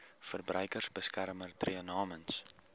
verbruikersbeskermer tree namens